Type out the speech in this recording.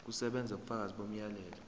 kusebenza ubufakazi bomyalelo